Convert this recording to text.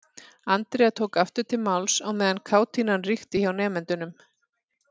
Andrea tók aftur til máls á meðan kátínan ríkti hjá nemendunum.